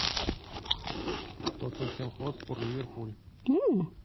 тоттенхэм хотспур ливерпуль